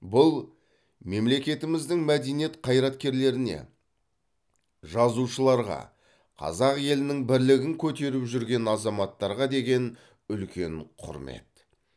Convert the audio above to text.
бұл мемлекетіміздің мәдениет қайраткерлеріне жазушыларға қазақ елінің бірлігін көтеріп жүрген азаматтарға деген үлкен құрмет